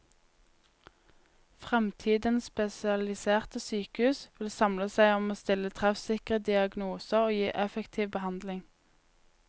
Fremtidens spesialiserte sykehus vil samle seg om å stille treffsikre diagnoser og gi effektiv behandling.